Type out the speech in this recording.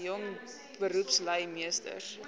jong beroepslui meesters